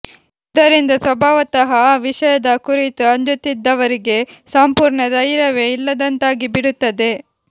ಇದರಿಂದ ಸ್ವಭಾವತಃ ಆ ವಿಷಯದ ಕುರಿತು ಅಂಜುತ್ತಿದ್ದವರಿಗೆ ಸಂಪೂರ್ಣ ಧೈರ್ಯವೇ ಇಲ್ಲದಂತಾಗಿಬಿಡುತ್ತದೆ